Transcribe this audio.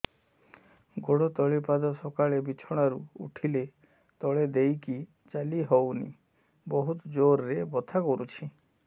ଗୋଡ ତଳି ପାଦ ସକାଳେ ବିଛଣା ରୁ ଉଠିଲେ ତଳେ ଦେଇକି ଚାଲିହଉନି ବହୁତ ଜୋର ରେ ବଥା କରୁଛି